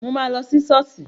Mo ma lọ sí ṣọ́ọ̀ṣì